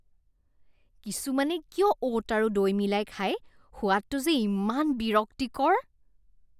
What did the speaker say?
কিছুমানে কিয় অ'ট আৰু দৈ মিলাই খায়? সোৱাদটো যে ইমান বিৰক্তিকৰ।